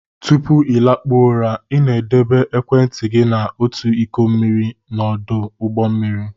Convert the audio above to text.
Tupu ị lakpuo ụra, ị debere ekwentị gị na otu iko mmiri n'ọdụ ụgbọ mmiri.